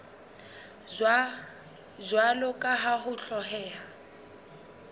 jwalo ka ha ho hlokeha